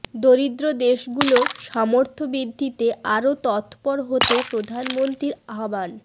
দরিদ্র দেশগুলোর সামর্থ্য বৃদ্ধিতে আরো তৎপর হতে প্রধানমন্ত্রীর আহ্বান